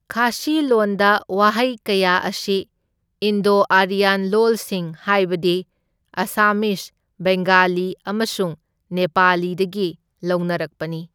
ꯈꯥꯁꯤ ꯂꯣꯟꯗ ꯋꯥꯍꯩ ꯀꯌꯥ ꯑꯁꯤ ꯏꯟꯗꯣ ꯑꯥꯔꯤꯌꯥꯟ ꯂꯣꯜꯁꯤꯡ ꯍꯥꯏꯕꯗꯤ ꯑꯁꯥꯃꯤꯖ, ꯕꯦꯡꯒꯂꯤ ꯑꯃꯁꯨꯡ ꯅꯦꯄꯥꯂꯤꯗꯒꯤ ꯂꯧꯅꯔꯛꯄꯅꯤ꯫